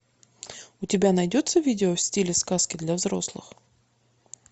у тебя найдется видео в стиле сказки для взрослых